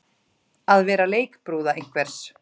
Að vera leikbrúða einhvers